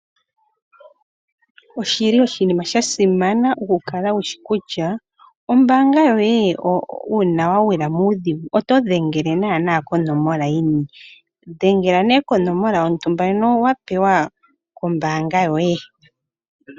Oshili oshinima sha simana oku kala wushi kutya ombaanga yoye uuna wa gilwa muudhigu oto dhengele naana konomola yini. Dhengela nee konomola yontumba ndjono wa pewa kombaanga yoye.